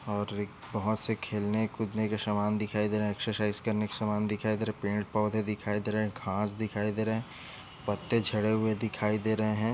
और एक बहोत से खेलने कूदने के सामान दिखाई दे रहे एक्सरसाइज करने के सामान दिखाई दे रहे पेड़ पौधे दिखाई दे रहे घास दिखाई दे रहे पत्ते झड़े हुए दिखाई दे रहे है।